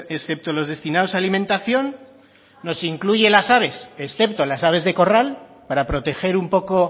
excepto los destinados a alimentación nos incluye las aves excepto las aves de corral para proteger un poco